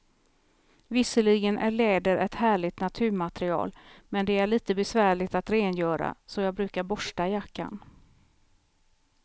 Visserligen är läder ett härligt naturmaterial, men det är lite besvärligt att rengöra, så jag brukar borsta jackan.